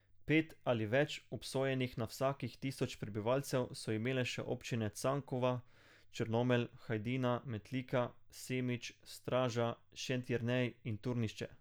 Pet ali več obsojenih na vsakih tisoč prebivalcev so imele še občine Cankova, Črnomelj, Hajdina, Metlika, Semič, Straža, Šentjernej in Turnišče.